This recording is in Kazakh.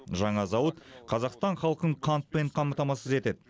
жаңа зауыт қазақстан халқын қантпен қамтамасыз етеді